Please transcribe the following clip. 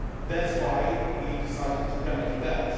That is why we decided to remedy that.